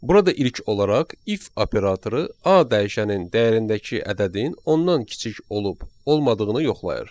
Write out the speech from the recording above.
Burada ilk olaraq if operatoru A dəyişənin dəyərindəki ədədin ondan kiçik olub olmadığını yoxlayır.